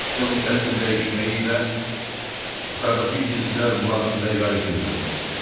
Foksun kəskin dəyişməyi ilə otaqdakı cizgilər bulanıq və yayğın göründü.